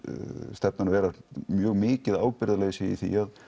stefnan vera mjög mikið ábyrgðarleysi í því